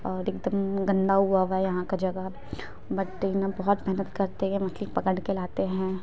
और एकदम गंदा हुवा -हुआ है यहाँ का जगह बट देखना बहोत महेनत करते है मछली को पकड़ के लाते है।